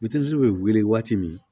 bɛ wili waati min